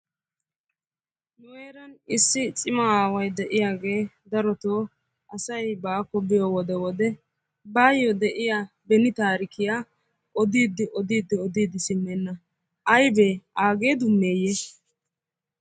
Nu heeran issi cima aaway de'iyaage darotoo asay baako biyo wode wode baayo beni taarikiya odidi odidi odidi simmena. Aybbe aage dummeyye?